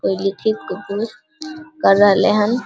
कोयली ठीक कु कू कर रहलन हन ।